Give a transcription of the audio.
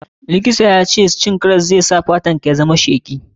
Likitan ya ce cin karas zai sa fatar ka yayi sheki.